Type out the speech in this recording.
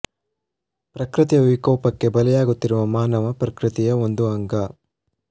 ಪ್ರಕೃತಿಯ ವಿಕೋಪ ಕ್ಕೆ ಬಲಿಯಾಗುತ್ತಿರುವ ಮಾನವ ಪ್ರಕೃತಿಯ ಒಂದು ಅಂಗ